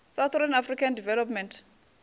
southern african development